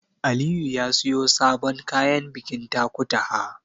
Aliyu ya siyo sabon kayan bikin Takutaha.